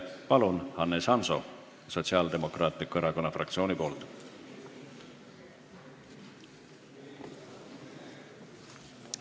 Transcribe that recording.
Palun, Hannes Hanso Sotsiaaldemokraatliku Erakonna fraktsiooni nimel!